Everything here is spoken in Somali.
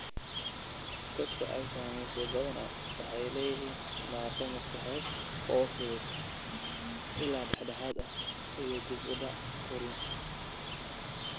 Dadka ay saamaysay badanaa waxay leeyihiin naafo maskaxeed oo fudud ilaa dhexdhexaad ah iyo dib u dhac korriin.